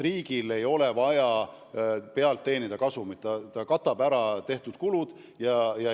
Riigil ei ole vaja selle pealt kasumit teenida, ta lihtsalt soovib, et tehtud kulud saaks kaetud.